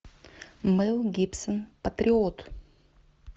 мэл гибсон патриот